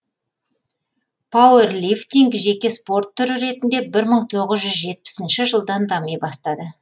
пауэрлифтинг жеке спорт түрі ретінде бір мың тоғыз жүз жетпісінші жылдан дами бастады